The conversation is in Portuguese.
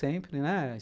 Sempre, né?